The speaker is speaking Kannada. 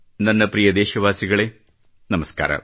ನನ್ನ ಪ್ರಿಯ ದೇಶವಾಸಿಗಳೇ ನಮಸ್ಕಾರ